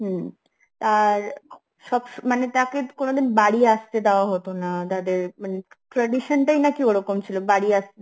হম তার সব~ তাকে কোনদিন বাড়ি আসতে দাওয়া হত না তাদের মানে, tradition তাই নাকি ওরকম ছিল বাড়ি আসতে